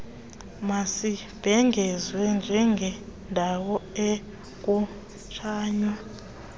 mazibhengezwe njengeendawo ekungatshaywa